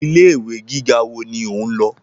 Ilé ìwé gíga wo ni o ń lọ?